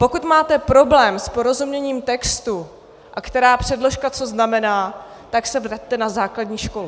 Pokud máte problém s porozuměním textu, a která předložka co znamená, tak se vraťte na základní školu.